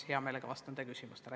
Hea meelega vastan teie küsimustele.